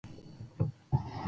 Það hlýtur að hafa verið hún.